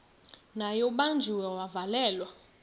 naye ubanjiwe wavalelwa